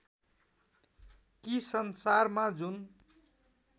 कि संसारमा जुन